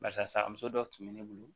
Barisa a muso dɔw tun bɛ ne bolo